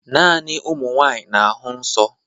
Naanị ụmụ nwanyị na-ahụ nsọ